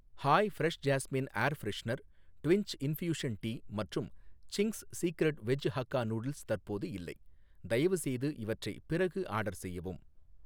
hi fresh jasmine air freshener Twinings infusion tea மற்றும் Ching's Secret veg hakka noodles தற்போது இல்லை, தயவுசெய்து இவற்றை பிறகு ஆர்டர் செய்யவும்